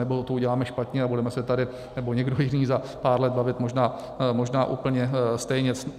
Anebo to uděláme špatně a budeme se tady, nebo někdo jiný za pár let, bavit možná úplně stejně.